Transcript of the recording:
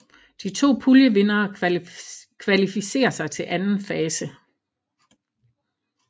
De to puljevindere kvalificerer sig til anden fase